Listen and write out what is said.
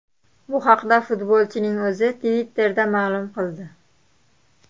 Bu haqda futbolchining o‘zi Twitter ’da ma’lum qildi.